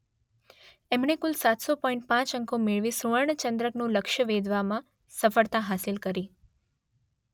એમણે કુલ સાત સો પોઇન્ટ પાંચ અંકો મેળવી સુવર્ણ ચંદ્રકનું લક્ષ્ય વેધવામાં સફળતા હાંસલ કરી.